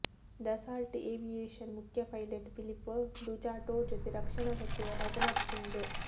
Dassault Aviation ಮುಖ್ಯ pilot Philippe Duchateau ಜೊತೆ ರಕ್ಷಣಾ ಸಚಿವ ರಾಜನಾಥ್ ಸಿಂಗ್